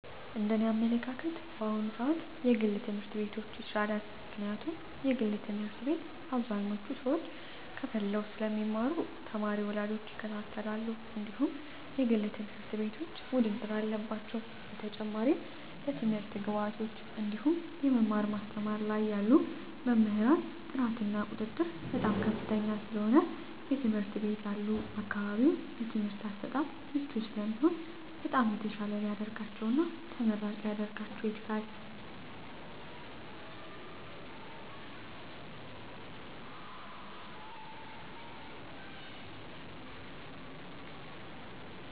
እንደ እኔ አመለካከት በአሁኑ ስዓት የግል ትምህርት ቤቶች ይሻላል ምክንያቱም የግል ትምህርት ቤት አብዛኞቹ ሰዎች ከፈለው ስለሚማሩ ተማሪ ወላጆች ይከታተላሉ እንድሁም የግል ትምህርት ቤቶች ውድድር አለባቸው በተጨማሪም ለትምህርት ግብዓቶች እንድሁም የመማር ማስተማር ላይ ያሉ መምህራን ጥራት እና ቁጥጥር በጣም ከፍተኛ ስለሆነ የትምህርት ቤት ያሉ አካባቢው ለትምህርት አሰጣጥ ምቹ ስለሚሆኑ በጣም የተሻለ ሊደርጋቸው እና ተመራጭ ሊረጋቸው ይችላል።